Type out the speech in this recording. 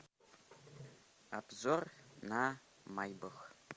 обзор на майбах